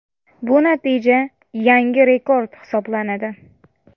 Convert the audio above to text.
Bu natija yangi rekord hisoblanadi .